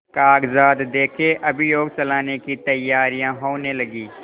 कागजात देखें अभियोग चलाने की तैयारियॉँ होने लगीं